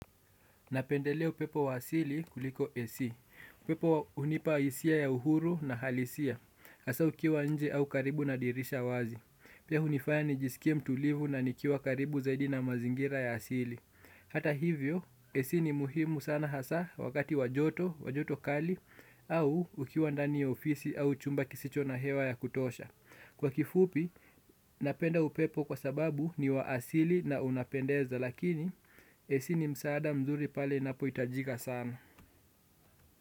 Napendelea upepo wa asili kuliko AC. Upepo hunipa hisia ya uhuru na halisia. Hasa ukiwa nje au karibu na dirisha wazi. Pia hunifaya nijisikie mtulivu na nikiwa karibu zaidi na mazingira ya asili. Hata hivyo, AC ni muhimu sana hasa wakati wa joto, wa joto kali, au ukiwa ndani ya ofisi au chumba kisicho na hewa ya kutosha. Kwa kifupi, napenda upepo kwa sababu ni wa asili na unapendeza. Lakini AC ni msaada mzuri pale inapohitajika sana.